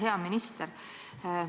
Hea minister!